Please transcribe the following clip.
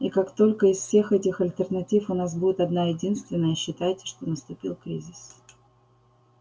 и как только из всех этих альтернатив у нас будет одна-единственная считайте что наступил кризис